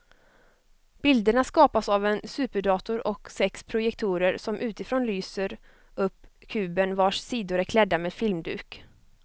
Bilderna skapas av en superdator och sex projektorer som utifrån lyser upp kuben vars sidor är klädda med filmduk.